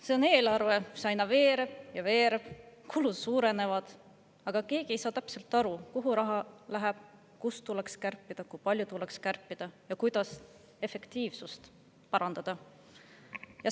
See on eelarve, mis aina veereb ja veereb, kulud suurenevad, aga keegi ei saa täpselt aru, kuhu raha läheb, kust tuleks kärpida, kui palju tuleks kärpida ja kuidas efektiivsust parandada.